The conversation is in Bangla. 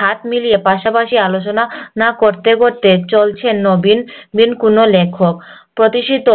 হাত মিলিয়ে পাশাপাশি আলোচনা করতে করতে চলছেন নবীন কোনো লেখক প্রতিশিতো